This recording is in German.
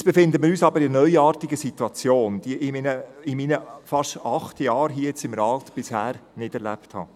Jetzt befinden wir uns aber in einer neuartigen Situation, wie ich sie in meinen fast acht Jahren hier im Rat bisher nicht erlebt habe.